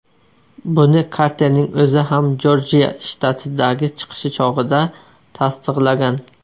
Buni Karterning o‘zi ham Jorjiya shtatidagi chiqishi chog‘ida tasdiqlagan.